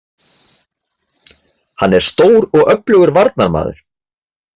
Hann er stór og öflugur varnarmaður